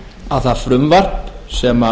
að það frumvarp sem